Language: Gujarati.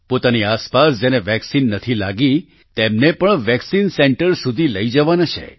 પોતાની આસપાસ જેને વેક્સિન નથી લાગી તેમને પણ વેક્સિન સેન્ટર સુધી લઈ જવાના છે